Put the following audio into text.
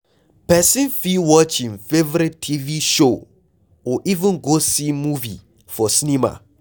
Person fit watch im favourite TV show or even go see movie for cinema